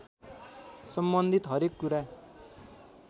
सम्बन्धित हरेक कुरा